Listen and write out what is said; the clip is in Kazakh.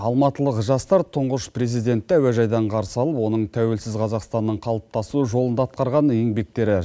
алматылық жастар тұңғыш президентті әуежайдан қарсы алып оның тәуелсіз қазақстанның қалыптасу жолында атқарған еңбектері